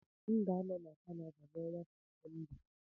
M ga-anọ na Canada n'ọnwa Septemba